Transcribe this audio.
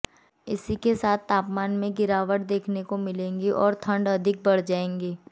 इसी के साथ तापमान में भी गिरावट देखने को मिलेगी और ठंड अधिक बढ़ जाएगी